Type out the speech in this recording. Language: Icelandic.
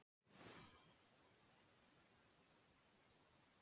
Það skiptir mig engu máli hvort að þetta sé gras eða gervigras.